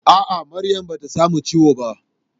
A'a, Maryam bata samu ciwo ba.